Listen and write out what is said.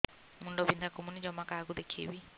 ମୁଣ୍ଡ ବିନ୍ଧା କମୁନି ଜମା କାହାକୁ ଦେଖେଇବି